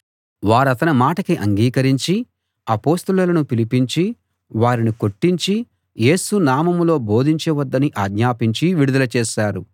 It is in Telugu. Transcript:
వారతని మాటకు అంగీకరించి అపొస్తలులను పిలిపించి వారిని కొట్టించి యేసు నామంలో బోధించ వద్దని ఆజ్ఞాపించి విడుదల చేశారు